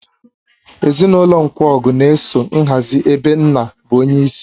Ezinụlọ Nkwogu na-eso nhazi ebe nna bụ onyeisi.